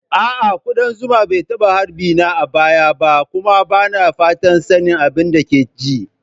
A'a, kudan zuma ba a taba harbi na ba a baya kuma ba na fatan sanin abin da ke ji.